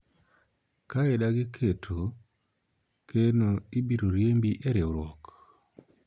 ka idagi keto keno ibiro riembi e riwruok